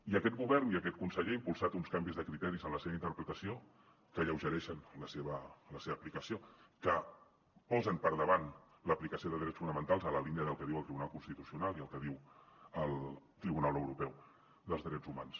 i aquest govern i aquest conseller ha impulsat uns canvis de criteris en la seva interpretació que alleugereixen la seva aplicació que posen per davant l’aplicació de drets fonamentals a la línia del que diu el tribunal constitucional i el que diu el tribunal europeu dels drets humans